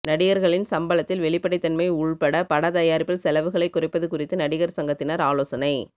நடிகர்களின் சம்பளத்தில் வெளிப்படைத்தன்மை உள்பட படத்தயாரிப்பில் செலவுகளைக் குறைப்பது குறித்து நடிகர் சங்கத்தினர் ஆலோசனை